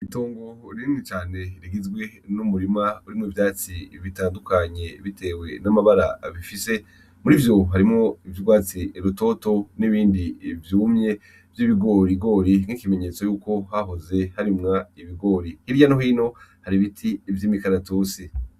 Itongo rinini caner rigizwe n'umurima urimwo ivyatsi bitandukanye bitewe n'amabara bifise, murivyo harimwo ivyurwatsi rutoto nibindi vyumye vy'ibigorigiri nk'ikimenyetso yuko hahoze harimwa ibigori, hirya no hino hari ibiti vy'imikaratusi.